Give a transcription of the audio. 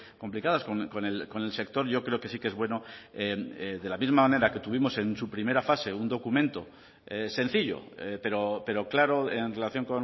complicadas con el sector yo creo que sí que es bueno de la misma manera que tuvimos en su primera fase un documento sencillo pero claro en relación